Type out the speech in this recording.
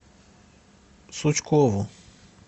сучкову